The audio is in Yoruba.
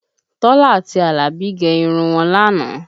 Tọ́lá àti Alabi gẹ irun wọn lánàá